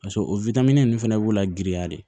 Paseke o ninnu fana b'u la giriya de